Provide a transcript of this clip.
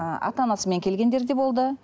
ыыы ата анасымен де келгендері де болды